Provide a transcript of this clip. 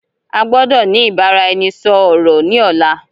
A gbọ́dọ̀ ni ìbáraẹnisọọ̀rọ̀ ni ọ̀la.